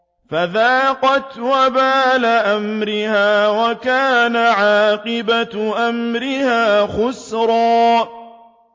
فَذَاقَتْ وَبَالَ أَمْرِهَا وَكَانَ عَاقِبَةُ أَمْرِهَا خُسْرًا